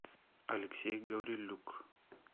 алексей гаврилюк